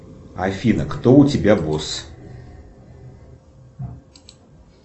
афина кто у тебя босс